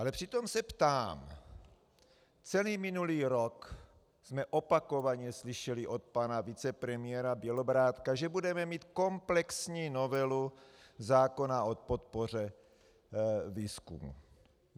Ale přitom se ptám - celý minulý rok jsme opakovaně slyšeli od pana vicepremiéra Bělobrádka, že budeme mít komplexní novelu zákona o podpoře výzkumu.